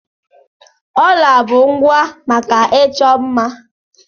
Jewelries are accessories for beautification.